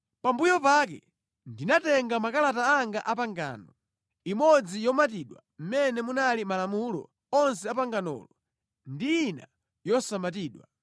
Pambuyo pake ndinatenga makalata anga a pangano, imodzi yomatidwa mʼmene munali malamulo onse a panganolo ndi ina yosamatidwa.